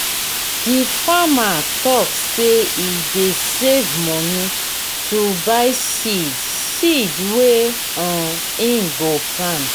di farmer tok sey e dey save moni to buy seed seed wey um im go plant.